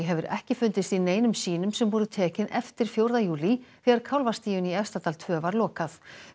hefur ekki fundist í neinum sýnum sem voru tekin eftir fjórða júlí þegar kálfastíunni í Efstadal tvö var lokað